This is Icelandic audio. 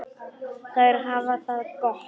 Þær hafa það gott.